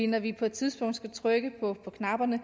når vi på et tidspunkt skal trykke på knapperne